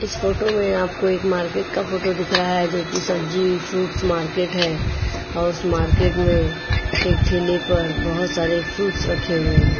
इस फोटो में आपको एक मार्केट का फोटो दिख रहा है जो कि सब्जी फ्रूट्स मार्केट है औ उस मार्केट में एक ठेले पर बोहोत सारे फ्रूट्स रखे हुए हैं।